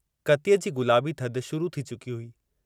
कतीअ जी गुलाबी थधि शुरू थी चुकी हुई।